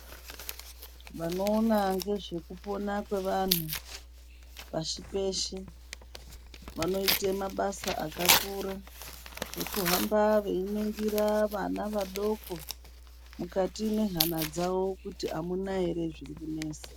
Vanoona ndezve kupona kwevantu pashi peshe vanoita mabasa akakura ekuhamba veiningira vana vadoko mukati mehana dzavo kuti amuna here zviri kunesa.